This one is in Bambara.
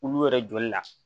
Olu yɛrɛ joli la